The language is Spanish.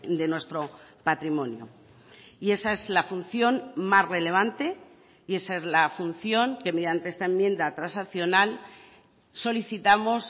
de nuestro patrimonio y esa es la función más relevante y esa es la función que mediante esta enmienda transaccional solicitamos